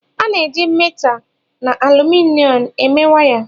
a na-eji métà na álúmịnịọm eme waya